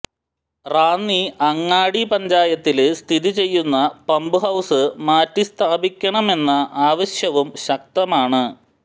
റാന്നി അങ്ങാടി പഞ്ചായത്തില് സ്ഥിതി ചെയ്യുന്ന പമ്പ്ഹൌസ് മാറ്റി സ്ഥാപിക്കണമെന്ന ആവശ്യവും ശക്തമാണ്